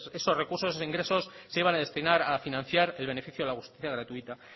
esos recursos esos ingresos se iban a destinar a financiar el beneficio de la justicia gratuita